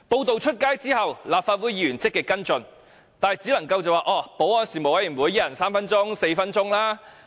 作出報道後，立法會議員積極跟進，但只能在保安事務委員會上，每人提問三四分鐘。